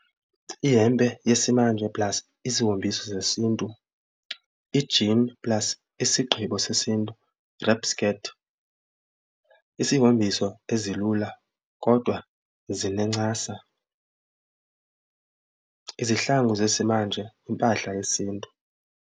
Ihempe yesimanje plus isihombiso sesiNtu, i-jean plus isigqibo sesiNtu wrap skirt, isihombiso ezilula kodwa zinencasa, izihlangu zesimanje, impahla yesiNtu.